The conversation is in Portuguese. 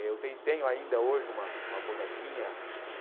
Eu tenho tenho ainda hoje uma uma bonequinha que...